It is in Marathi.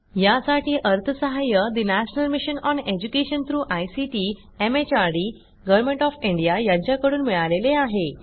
यासाठी national mission on education through ICT MHRD यांच्याकडून अर्थसहाय्य मिळालेले आहे